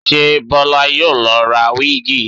Ṣé Bọlá yóò lọ ra wíìgì?